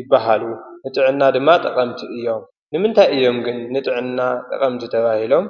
ይባሃሉ፡፡ ንጥዕና ድማ ጠቐምቲ እዮም፡፡ ንምንታይ እዮም ግን ንጥዕና ጠቐምቲ ተባሂሎም?